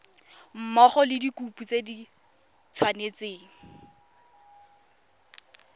mmogo le dikopo di tshwanetse